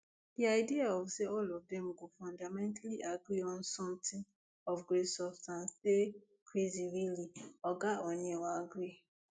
di idea of say all of dem go fundamentally agree on something of great substance dey crazy really oga oneill believe